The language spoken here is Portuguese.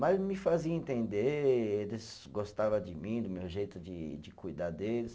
Mas me fazia entender, eles gostava de mim, do meu jeito de de cuidar deles.